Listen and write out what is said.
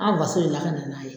An faso in lakana n'a ye.